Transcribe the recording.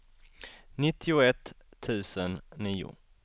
nittioett tusen nio